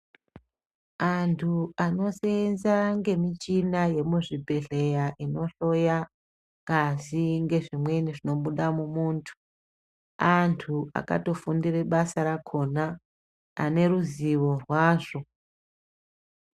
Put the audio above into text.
Antu anoseenza nemichina yemuzvibhedhlera inohloya ngazi ngezvimweni zvinobuda mumuntu antu akatofundira basa rakona ane ruzivo rwazvo.